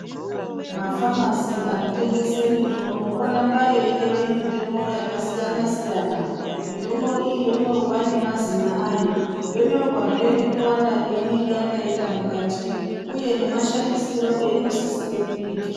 Mafamasi anotengese mitombo oramba eibekwe mitombo yakasiyana-siyana . Mitombo iyi yonyorwa nemazina ayo. Yonyorwazve nekuwanda kweinenge yakaita mukati, uye nemashandisiro einosisire kuitwa.